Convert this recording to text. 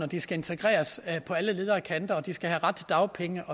de skal integreres på alle leder og kanter at de skal have ret til dagpenge